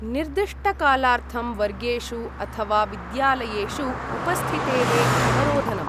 निर्दिष्टकालार्थं वर्गेषु अथवा विद्यालयेषु उपस्थितेः अवरोधनम्।